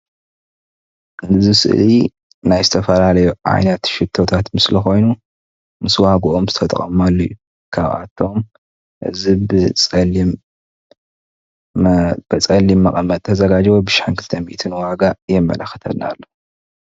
ኣብዚ ስእሊ ናይ ዝተፈላለዩ ዓይነት ሽቶታት ምስሊ ኮይኑ ምስ ዋግኡ ዝተቀመጠሉ እዩ ካብኣቶም እዚ ብፀሊም መቀመጢ ዝተዘጋጀወ ሓደ ሽሕን ክልተ ሚኢትን ዋጋ የመላክተና ኣሎ፡፡